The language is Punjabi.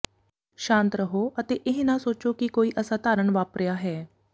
ਸ਼ਾਂਤ ਰਹੋ ਅਤੇ ਇਹ ਨਾ ਸੋਚੋ ਕਿ ਕੋਈ ਅਸਾਧਾਰਣ ਵਾਪਰਿਆ ਹੈ